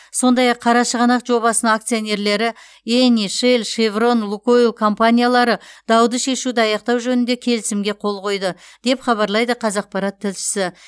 сондай ақ қарашығанақ жобасының акционерлері эни шелл шеврон лукойл компаниялары дауды шешуді аяқтау жөнінде келісімге қол қойды деп хабарлайды қазақпарат тілшісі